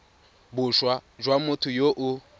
boswa jwa motho yo o